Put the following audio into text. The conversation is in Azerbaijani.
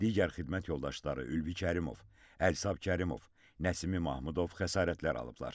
Digər xidmət yoldaşları Ülvi Kərimov, Əlisəb Kərimov, Nəsimi Mahmudov xəsarətlər alıblar.